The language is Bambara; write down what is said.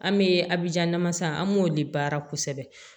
An bɛ abija namasa an b'o de baara kosɛbɛ